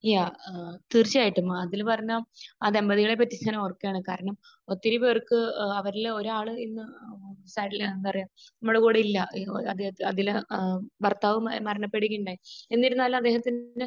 യാ. തീർച്ചയായിട്ടും. അഖിൽ പറഞ്ഞ ആ ദമ്പതികളെ കുറിച്ച് ഞാൻ ഓർക്കുകയാണ്. കാരണം ഒത്തിരി പേർക്ക് ഏഹ് അവരിൽ ഒരാൾ എന്ന ഏഹ് സ എന്താ പറയാ അദ്ദേഹം ഭർത്താവ് മരണപ്പെടുകയുണ്ടായി. എന്നിരുന്നാലും അദ്ദേഹത്തിന്റെ